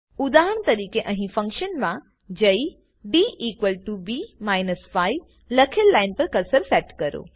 ઉદાહરણ તરીકે અહી ફંક્શન માં જઈ db 5 લખેલ લાઈન પર કર્સર સેટ કરો